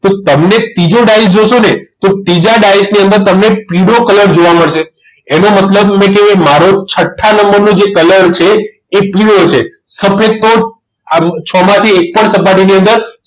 તો તમને ત્રીજો ડાયસ જોશો ને તો ત્રીજા ડાયસની અંદર તમને પીળો colour જોવા મળશે એનો મતલબ એટલે કે મારો છઠ્ઠા નંબરનો જે colour છે એ પીળો છે સફેદ તો આ છમાંથી એક પણ સપાટી ની અંદર